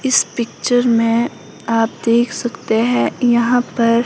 इस पिक्चर में आप देख सकते हैं यहां पर--